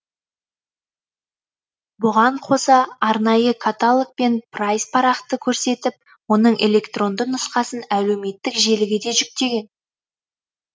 бұған қоса арнайы каталог пен прайс парақты көрсетіп оның электронды нұсқасын әлеуметтік желіге де жүктеген